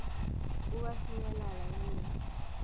o a šinyalala hm e